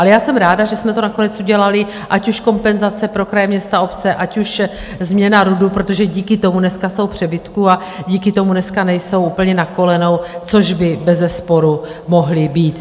Ale já jsem ráda, že jsme to nakonec udělali, ať už kompenzace pro kraje, města, obce, ať už změna RUDu, protože díky tomu dneska jsou v přebytku a díky tomu dneska nejsou úplně na kolenou, což by bezesporu mohli být.